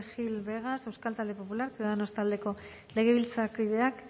gil vegas euskal talde popular ciudadanos taldeko legebiltzarkideak